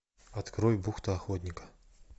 открой бухта охотника